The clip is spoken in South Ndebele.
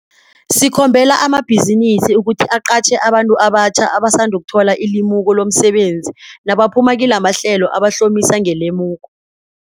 Sikhombela amabhizinisi ukuthi aqatjhe abantu abatjhaba abasandukuthola ilimuko lomsebenzi nabaphuma kilamahlelo abahlomise ngelimuko.